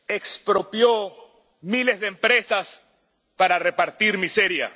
Expropió miles de empresas para repartir miseria.